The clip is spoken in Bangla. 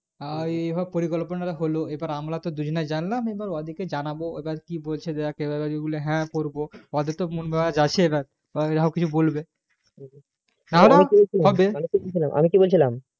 আর তো এই পরিকল্পনা গুলো হলো আমরা তো দুইজনা জানলাম এবার ওদিকে জানাবো ওরা কি বলছে দেখ হ্যাঁ করবো হয় তো কিছু বলবে আমি কিছু বলছিলাম